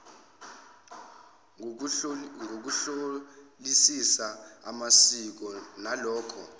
ngokuhlolisisa amasiko nalokho